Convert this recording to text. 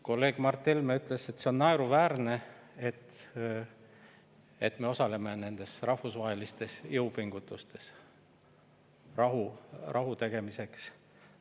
Kolleeg Mart Helme ütles, et see on naeruväärne, et me osaleme nendes rahvusvahelistes jõupingutustes rahu.